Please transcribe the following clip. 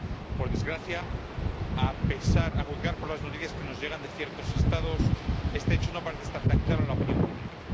Por desgracia, a juzgar por las noticias que nos llegan de ciertos Estados, este hecho no parece estar tan claro en la opinión pública.